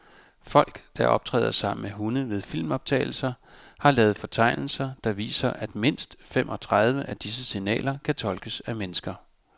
Folk, der optræder sammen med hunde ved filmoptagelser, har lavet fortegnelser, der viser, at mindst femogtredive af disse signaler kan tolkes af mennesker.